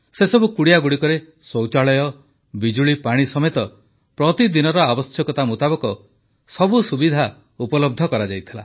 ସେସବୁ କୁଡ଼ିଆଗୁଡ଼ିକରେ ଶୌଚାଳୟ ବିଜୁଳିପାଣି ସମେତ ପ୍ରତିଦିନର ଆବଶ୍ୟକତା ମୁତାବକ ସବୁ ସୁବିଧା ଉପଲବ୍ଧ କରାଯାଇଥିଲା